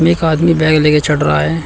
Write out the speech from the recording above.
एक आदमी बैग लेकर चढ़ रहा है।